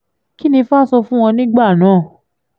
kín ni ifá sọ fún wọn nígbà náà